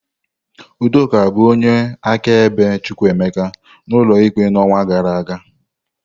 Udoka bụ onye akaebe Chukwuemeka n'ụlọ ikpe n'ọnwa gara aga.